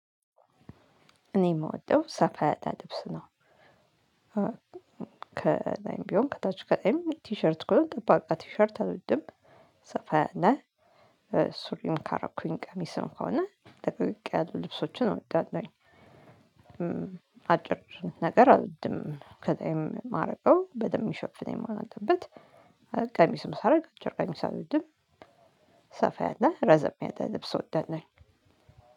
እኔ የምወደው ሰፋ ያለ ልብስ ነው። ከላይም ቢሆን ከታች ከዛም ቲሸርት እኮ ጠባቃ ቲሸርት አውድም ሰፋ ነህ። ሱሪን ካረኩኝ ቀሚስ ነው ከሆነ ለቀቅ ያሉ ልብሶቹን አወዳለሁኝ። አጭር ነገር አልወድም ከላዬም የማረገው በደንብ የሚሸፍነኝ መሆን አለበት። ቀሚስ ሳረግ አጭር ቀሚስ አሎድም። ሰፋ ያለ ረዘም ያለ ልብስ እወዳለሁኝ።